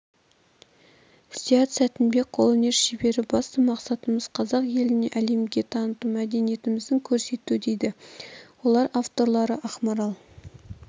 зият сәтінбек қолөнер шебері басты мақсатымыз қазақ елін әлемге таныту мәдениетімізді көрсету дейді олар авторлары ақмарал